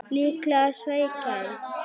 Það er líklega svækjan